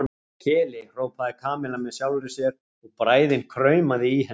Keli, hrópaði Kamilla með sjálfri sér og bræðin kraumaði í henni.